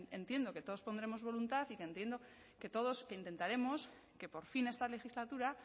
entiendo que todos pondremos voluntad y que entiendo que todos intentaremos que por fin esta legislatura